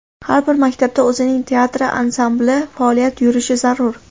Har bir maktabda o‘zining teatri, ansambli faoliyat yurishi zarur.